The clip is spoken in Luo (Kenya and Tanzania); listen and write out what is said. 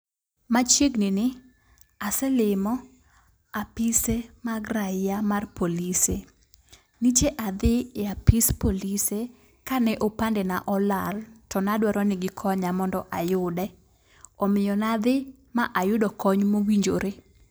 machioegni ni aselimo apise mag raia mar polise. Nyiche adhi e apis polise kane opande na olal to nadwaro ni gikanyo mondo ayude. Omiyo nadhi ma ayudo kony mowinjore.